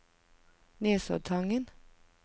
Nesoddtangen